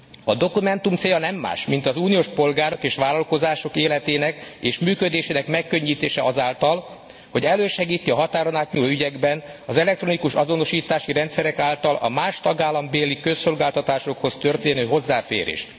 A dokumentum célja nem más, mint az uniós polgárok és vállalkozások életének és működésének megkönnyítése azáltal, hogy elősegíti a határon átnyúló ügyekben az elektronikus azonosítási rendszerek által a más tagállambéli közszolgáltatásokhoz történő hozzáférést.